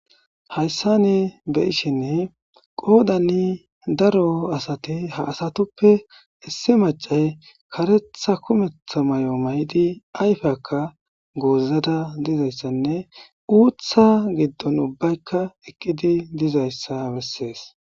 Hayssan be7ishin qodan daro asata haasatuppe issi maccay karetha kumetha mayo mayidi ayfiyakka gozzada dizaysanne utha giddon ubbaykka eqidi dizayssa bessees.